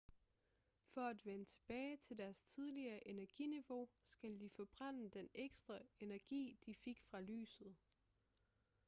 for at vende tilbage til deres tidligere energiniveau skal de forbrænde den ekstra energi de fik fra lyset